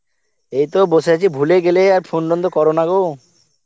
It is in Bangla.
এইতো বসে আছি ভুলেই গেলে আর phone টোন তো করো না গো.